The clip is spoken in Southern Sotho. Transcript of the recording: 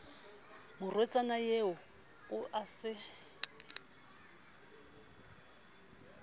morwetsana eo o a se